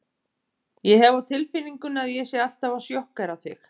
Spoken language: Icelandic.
Ég hef á tilfinningunni að ég sé alltaf að sjokkera þig.